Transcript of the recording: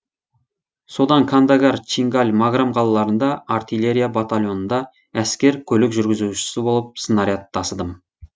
содан кандагар чингаль маграм қалаларында артиллерия батальонында әскер көлік жүргізушісі болып снаряд тасыдым